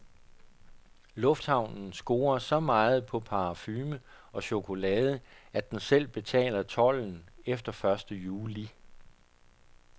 Lufthavnen scorer så meget på parfume og chokolade, at den selv betaler tolden efter første juli.